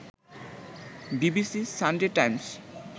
BBC, Sunday Times